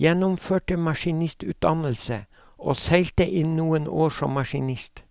gjennomførte maskinistutdannelse og seilte i noen år som maskinist.